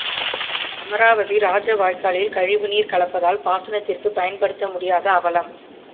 அமராவதி ராஜ வாய்க்காலில் கழிவுநீர் கலப்பதால் பாசனத்திற்கு பயன்படுத்த முடியாத அவலம்